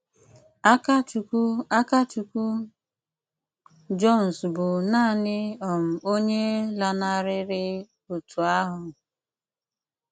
Ákàchùkwù Ákàchùkwù Jones bụ́ naanị um onye lànarịrị otu ahụ.